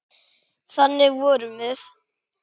Þannig vorum við.